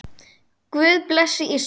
Guð blessi Ísland.